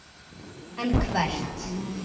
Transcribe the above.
En hvert?